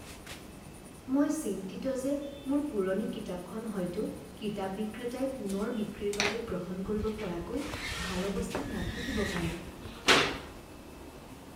মই চিন্তিত যে মোৰ পুৰণি কিতাপখন হয়তো কিতাপ বিক্ৰেতাই পুনৰ বিক্ৰীৰ বাবে গ্ৰহণ কৰিব পৰাকৈ ভাল অৱস্থাত নাথাকিব পাৰে।